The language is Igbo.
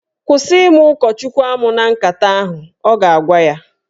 "Kwụsị ịmụ ụkọchukwu amụ na nkata ahụ" Ọ ga-agwa ya.